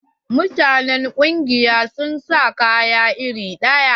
Mutanen ƙungiyar sun sa kaya iri ɗaya.